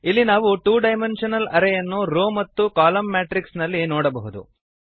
ಇಲ್ಲಿ ನಾವು two dimensional array ಯನ್ನು ರೋ ಮತ್ತು ಕಾಲಮ್ ಮ್ಯಾಟ್ರಿಕ್ಸ್ ನಲ್ಲಿ ನೋಡಬಹುದು